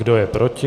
Kdo je proti?